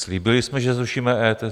Slíbili jsme, že zrušíme EET?